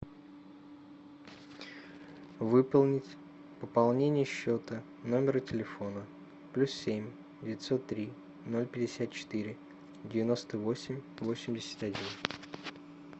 выполнить пополнение счета номера телефона плюс семь девятьсот три ноль пятьдесят четыре девяносто восемь восемьдесят один